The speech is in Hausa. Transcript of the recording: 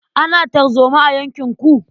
Ana tarzoma a yankinku?